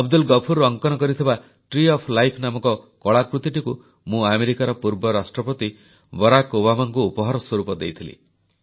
ଅବଦୁଲ ଗଫୁର ଅଙ୍କନ କରିଥିବା tree of life ନାମକ କଳାକୃତିଟିକୁ ମୁଁ ଆମେରିକାର ପୂର୍ବ ରାଷ୍ଟ୍ରପତି ବରାକ୍ ଓବାମାଙ୍କୁ ଉପହାର ସ୍ୱରୂପ ଦେଇଥିଲି